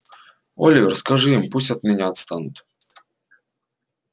оливер скажи им пусть от меня отстанут